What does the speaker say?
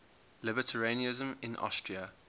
libertarianism in austria